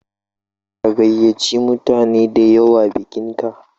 Ka gayyace mutane da yawa bikinka?